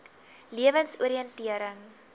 lewensoriëntering